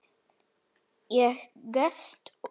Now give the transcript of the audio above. Ég gefst upp.